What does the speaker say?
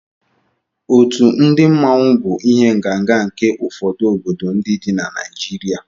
Otu ndị mmanwu bụ ihe ǹgànga nke ụfọdụ obodo dị na Naịjirịa